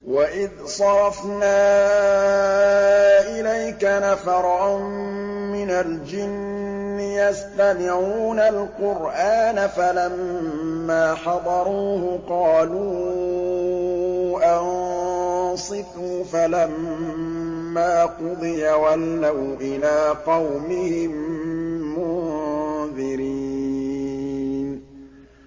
وَإِذْ صَرَفْنَا إِلَيْكَ نَفَرًا مِّنَ الْجِنِّ يَسْتَمِعُونَ الْقُرْآنَ فَلَمَّا حَضَرُوهُ قَالُوا أَنصِتُوا ۖ فَلَمَّا قُضِيَ وَلَّوْا إِلَىٰ قَوْمِهِم مُّنذِرِينَ